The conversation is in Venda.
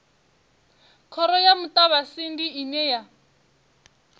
khoro ya muṱavhatsindi ine ya